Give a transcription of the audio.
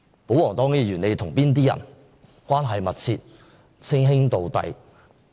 保皇黨議員與哪些人關係密切、稱兄道弟？